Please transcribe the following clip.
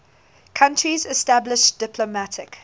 countries established diplomatic